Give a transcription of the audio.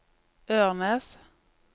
Ørnes